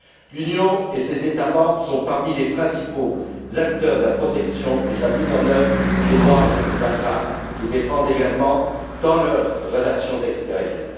L'Union et ses États membres sont parmi les principaux acteurs de la protection et de la mise en œuvre des droits de la femme, qu'ils défendent également dans leurs relations extérieures.